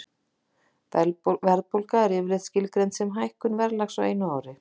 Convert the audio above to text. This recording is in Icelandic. Verðbólga er yfirleitt skilgreind sem hækkun verðlags á einu ári.